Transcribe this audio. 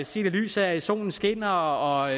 set i lyset af at solen skinner og